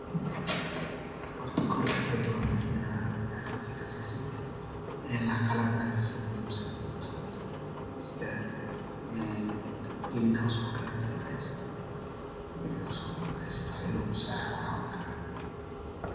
Horta kow xirfada waa muhimna, xirfadi kasesid ilaa qalabka kasi muhimsan qalabkaa sidaa een green houseko kaleto inaad hesatid green houseko kale markad hesatid wax idhil uu ka cawin karaa.